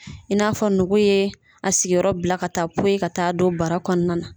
I n'a fɔ nugu ye a sigiyɔrɔ bila ka taa poyi ka taa don bara kɔnɔna na.